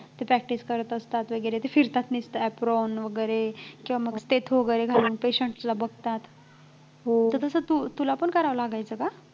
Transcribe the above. ते practice करत असतात वगैरे ते फिरतात apron वगैरे किंवा stath वगैरे घालून patients ला बघतात तसं तुला पण करायला लागायचं का